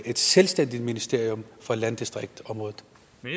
et selvstændigt ministerium for landdistriktsområdet